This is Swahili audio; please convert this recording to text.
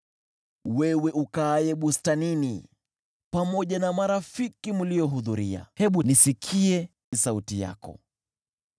Wewe ukaaye bustanini pamoja na marafiki mliohudhuria, hebu nisikie sauti yako!